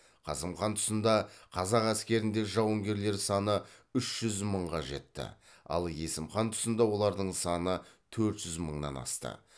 қасым хан тұсында қазақ әскерінде жауынгерлер саны үш жүз мыңға жетті ал есім хан тұсында олардың саны төрт жүз мыңнан асты